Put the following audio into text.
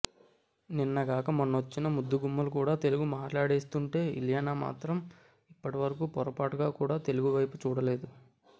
నిన్నగాక మొన్నొచ్చిన ముద్దుగుమ్మలు కూడా తెలుగు మాట్లాడేస్తుంటే ఇలియానా మాత్రం ఇప్పటి వరకు పొరపాటుగా కూడా తెలుగు వైపు చూడలేదు